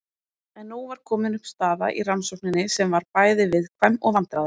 En nú var komin upp staða í rannsókninni sem var bæði viðkvæm og vandræðaleg.